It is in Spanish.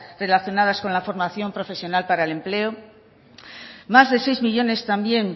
relacionadas con la formación profesional para el empleo más de seis millónes también